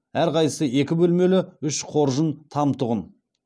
әрқайсысы екі бөлмелі үш қоржын там тұғын